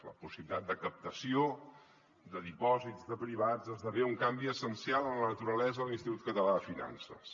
la possibilitat de captació de dipòsits de privats esdevé un canvi essencial en la naturalesa de l’institut català de finances